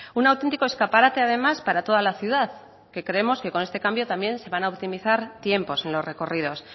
un auténtico escaparate además para toda la ciudad que creemos que con este cambio también se van a optimizar tiempos en los recorridos